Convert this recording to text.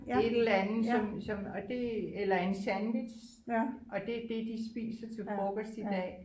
Et eller andet som som og det eller en sandwich og det er det de spiser til frokost i dag